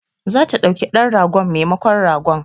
Za ta ɗauki dan ragon memakon ragon